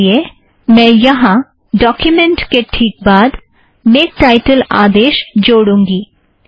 इस लिए मैं यहाँ डोक्युमेंट के ठीक बाद मेक टाइटल आदेश जोड़ूँगी